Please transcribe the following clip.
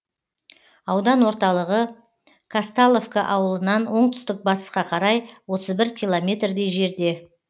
аудан орталығы казталовка ауылынан оңтүстік батысқа қарай отыз бір километрдей жерде